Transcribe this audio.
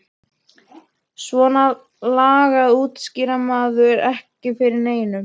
Svona lagað útskýrði maður ekki fyrir neinum.